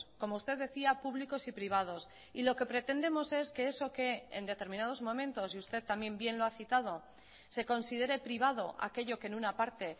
como usted decía públicos y privados y lo que pretendemos es que eso que en determinados momentos y usted también bien lo ha citado se considere privado aquello que en una parte